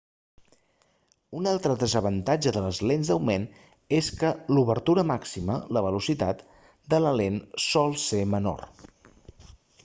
un altre desavantatge de les lents d'augment és que l'obertura màxima la velocitat de la lent sol ser menor